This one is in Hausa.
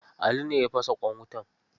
Ali ne ya fasa ƙwan wutan.